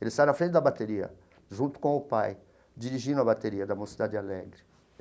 Ele sai na frente da bateria, junto com o pai, dirigindo a bateria da Mocidade Alegre.